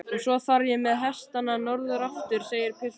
Og svo þarf ég með hestana norður aftur, segir pilturinn.